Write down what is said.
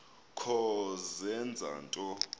kho zenza nto